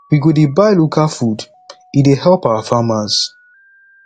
we go dey buy local food e dey help our farmers